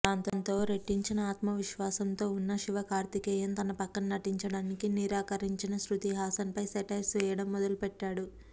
దాంతో రెట్టించిన ఆత్మవిశ్వాసంతో ఉన్న శివకార్తికేయన్ తన పక్కన నటించడానికి నిరాకరించిన శృతి హసన్ పై సెటైర్స్ వేయడం మొదలుపెట్టాడు